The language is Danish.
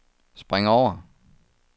spring over